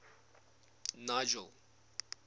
nigel